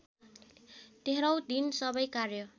तेह्रौँ दिन सबै कार्य